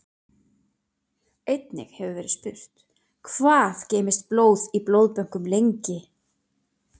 Einnig hefur verið spurt: Hvað geymist blóð í blóðbönkum lengi?